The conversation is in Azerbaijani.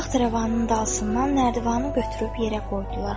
Taxt-rəvanın dalsından nərdivanı götürüb yerə qoydular.